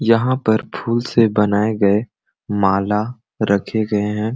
यहाँ पर फूल से बनाये गए माला रखे गए है।